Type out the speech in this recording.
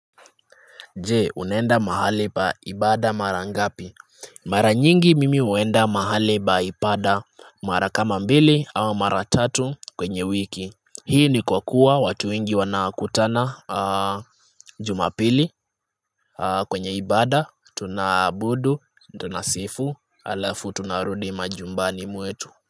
Jee unaenda mahali pa ibada mara ngapi mara nyingi mimi huenda mahali pa ibada mara kama mbili au mara tatu kwenye wiki hii ni kwa kuwa watu wengi wanakutana jumapili kwenye ibada tunaabudu tunasifu halafu tunarudi majumbani mwetu.